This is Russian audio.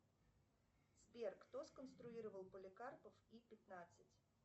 сбер кто сконструировал поликарпов и пятнадцать